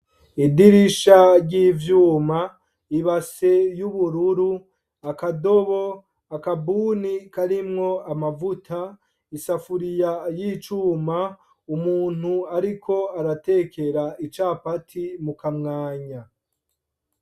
Idirisha ry'ivyuma , ibase y'ubururu, akadobo, akabuni karimwo amavuta , isafuriya y'icuma , umuntu ariko aratekera icapati mukamwanya.